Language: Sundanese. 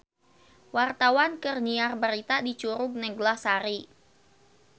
Wartawan keur nyiar berita di Curug Neglasari